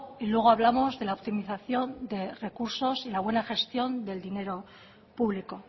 y luego hablamos de la optimización de recursos y la buena gestión del dinero público